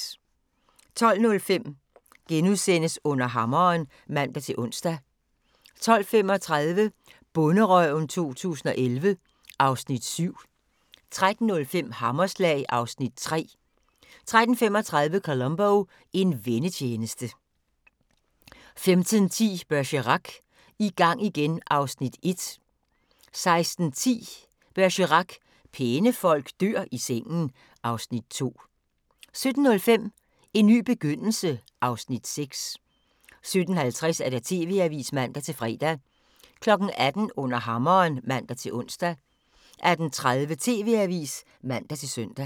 12:05: Under hammeren *(man-ons) 12:35: Bonderøven 2011 (Afs. 7) 13:05: Hammerslag (Afs. 3) 13:35: Columbo: En vennetjeneste 15:10: Bergerac: I gang igen (Afs. 1) 16:10: Bergerac: Pæne folk dør i sengen (Afs. 2) 17:05: En ny begyndelse (Afs. 6) 17:50: TV-avisen (man-fre) 18:00: Under hammeren (man-ons) 18:30: TV-avisen (man-søn)